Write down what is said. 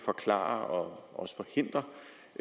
hav